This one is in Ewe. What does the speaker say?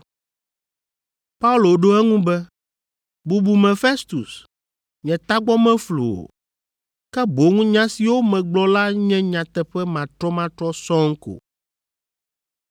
Paulo ɖo eŋu be, “Bubume Festus, nye tagbɔ meflu o, ke boŋ nya siwo megblɔ la nye nyateƒe matrɔmatrɔ sɔŋ ko.